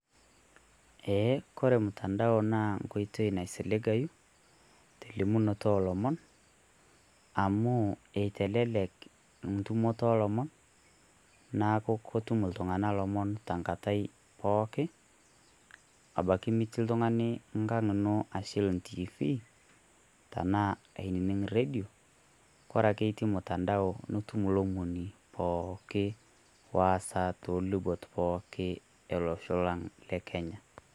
Ee kore ormutandao naa enkoitoi naisiligayu telimunoto oolomon amu eitelelek entumoto oolomon, neaku ketum iltung'anak ilomon tenkata pooki, ebaki nitii oltung'ani Engang' ino enaa entiifii enaa ainining' rredio, ore ake etii mutandao nitum kulo omon enkolong'i look wesaa pooki tolubot ele osho lang' lekenya.